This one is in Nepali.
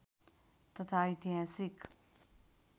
तथा ऐतिहासिक